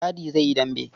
Dadi zai yi dambe.